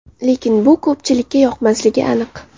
Lekin bu ko‘pchilikka yoqmasligi aniq.